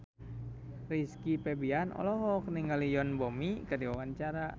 Rizky Febian olohok ningali Yoon Bomi keur diwawancara